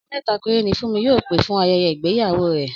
Ọ̀rẹ́ mẹ́ta péré ni Fúnmi yóò pè fún ayẹyẹ igbeyawo rẹ̀